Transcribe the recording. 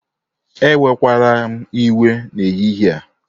Ewekwala m iwe n'ehihie a